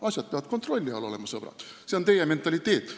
Asjad peavad kontrolli all olema, sõbrad – see on teie mentaliteet.